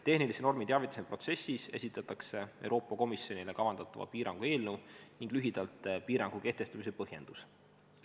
Tehnilise normi teavituse protsessis esitatakse Euroopa Komisjonile kavandatava piirangu eelnõu ning lühidalt piirangu kehtestamise põhjendus.